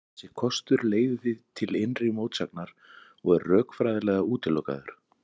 Þessi kostur leiðir því til innri mótsagnar og er rökfræðilega útilokaður.